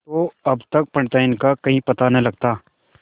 तो अब तक पंडिताइन का कहीं पता न लगता